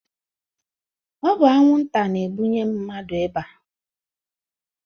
Ọ bu anwu nta na ebụnye mmadu ịba.